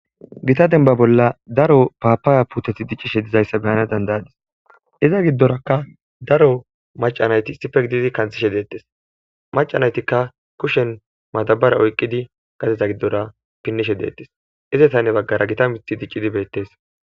Gita bolla daro papaya puuteti diccishe dizayssa be'ana danda'adis. iza gidorakka daro macca naati issippe gididi kanthishe deetees. Macca naatikka kushen madabara oyqqidi gadeza gidora pinishe deetees. ezatanne bagara gita mithi diccidi beetees.